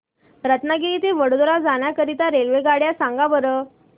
रत्नागिरी ते वडोदरा जाण्या करीता रेल्वेगाड्या सांगा बरं